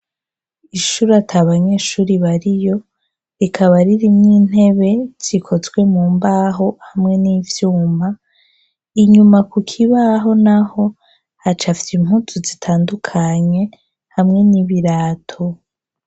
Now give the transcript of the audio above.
Ishure ata banyeshuri bariyo rikaba ririmwo intebe zikozwe mu mbaho hamwe n'ivyuma, inyuma ku kibaho naho hacafye impuzu zitandukanye hamwe n'ibirato.